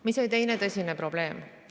Mis oli teine tõsine probleem?